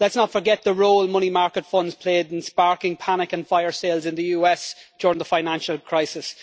Let us not forget the role that money market funds played in sparking panic and fire sales in the US during the financial crisis.